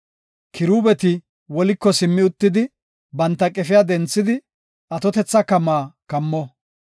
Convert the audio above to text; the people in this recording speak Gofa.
Kiruubeti woliko simmi uttidi, banta qefiya denthidi, atotetha kamaa kammo.